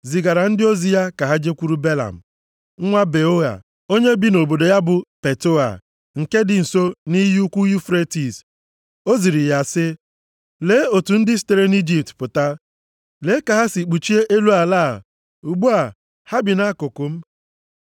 zigara ndị ozi ya ka ha jekwuru Belam, nwa Beoa onye bi nʼobodo ya bụ Petoa, nke dị nso nʼiyi ukwu Yufretis. O ziri ya sị, “Lee otu ndị sitere nʼIjipt pụta. Lee ka ha si kpuchie elu ala a; ugbu a, ha bi nʼakụkụ m.